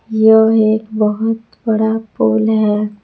यह एक बहोत बड़ा पुल है।